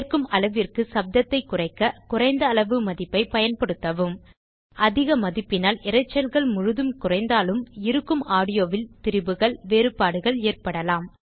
ஏற்கும் அளவிற்கு சப்தத்தைக் குறைக்க குறைந்த அளவு மதிப்பைப் பயன்படுத்தவும் அதிக மதிப்பினால் இரைச்சல்கள் முழுதும் குறைந்தாலும் இருக்கும் ஆடியோவில் திரிபுகள்வேறுபாடுகள் ஏற்படலாம்